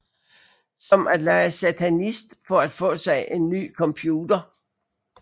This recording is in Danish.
Som at lege satanist for at få sig en ny computer